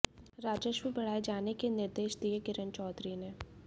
राजस्व बढ़ाये जाने के निर्देश दिये किरण चौधरी ने